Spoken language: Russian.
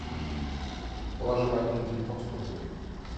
положи ване на телефон сто рублей